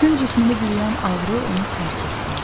Bütün cismimi bürüyən ağrı onu tərk etdi.